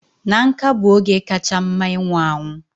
Na nká bụ oge kacha mma ịnwụ anwụ